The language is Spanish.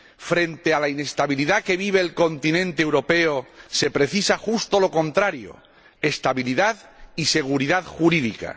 Frente a la inestabilidad que vive el continente europeo se precisa justo lo contrario estabilidad y seguridad jurídica.